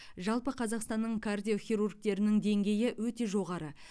жалпы қазақстанның кардиохирургтерінің деңгейі өте жоғары